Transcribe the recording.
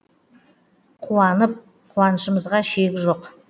қуанып қуанышымызға шек жоқ